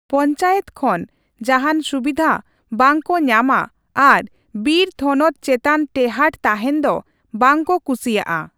ᱯᱚᱧᱪᱟᱭᱮᱛ ᱠᱷᱚᱱ ᱡᱟᱦᱟᱸᱱ ᱥᱩᱵᱤᱫᱷᱟ ᱵᱟᱝᱠᱚ ᱧᱟᱢᱼᱟ ᱟᱨ ᱵᱤᱨ ᱛᱷᱚᱱᱚᱛ ᱪᱮᱛᱟᱱ ᱴᱮᱦᱟᱸᱴ ᱛᱟᱦᱮᱸᱱ ᱫᱚ ᱵᱟᱝ ᱠᱚ ᱠᱩᱥᱤᱭᱟᱜᱼᱟ ᱾